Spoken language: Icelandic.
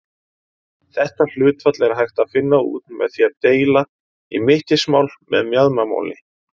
Þetta hlutfall er hægt að finna út með því að deila í mittismál með mjaðmamáli.